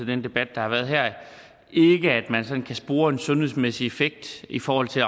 den debat der har været her at man kan spore en sundhedsmæssig effekt i forhold til